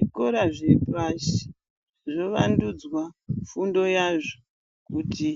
Zvikora zvepashi zvovandudzwa fundo yazvo kuti